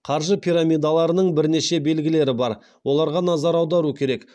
қаржы пирамидаларының бірнеше белгілері бар оларға назар аудару керек